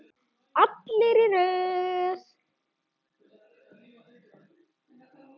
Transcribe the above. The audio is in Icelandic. Allir í röð!